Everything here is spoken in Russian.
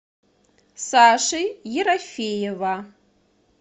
саши ерофеева